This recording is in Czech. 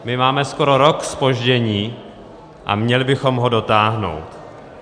My máme skoro rok zpoždění a měli bychom ho dotáhnout.